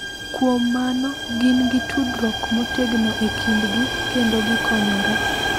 Kuom mano, gin gi tudruok motegno e kindgi kendo gikonyore.